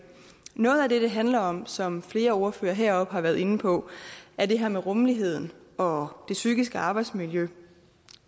noget af det det handler om som flere ordførere heroppe har været inde på er det her med rummeligheden og det psykiske arbejdsmiljø